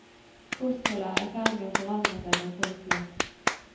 Kostholdet er i ferd med å forandre seg blant folk flest.